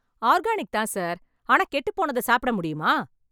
Organic தான் sir. ஆனா கெட்டுப் போனத சாப்ட முடியுமா?